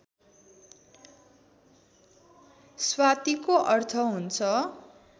स्वातिको अर्थ हुन्छ